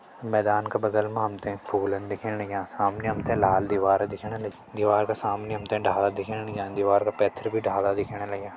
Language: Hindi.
माकन का बगल मा हम तें फूलन दिखेण लग्यां समणी हम तें लाल दिवार दिखेण लगीं दीवार का समणी हम तें डाला दिखेण लग्यां दिवार का पैथर भी डाला दिखेण लग्यां।